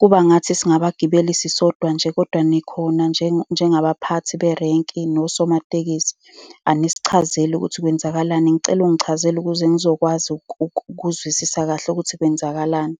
Kuba engathi singabagibeli sisodwa nje. Kodwa nikhona la, njengabaphathi berenki nosomatekisi. Anisichazeli ukuthi kwenzakalani. Ngicela ungichazele ukuze ngizokwazi ukuzwisisa kahle ukuthi kwenzakalani.